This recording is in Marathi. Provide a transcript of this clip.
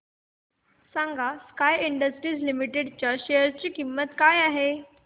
सांगा स्काय इंडस्ट्रीज लिमिटेड च्या शेअर ची किंमत काय आहे